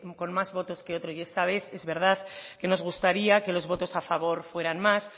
que con más votos que otro y esta vez es verdad que nos gustaría que los votos a favor fueran más